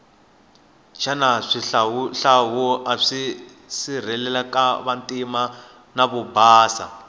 shana shihlawuhlawu ashirilekavantima navobhasa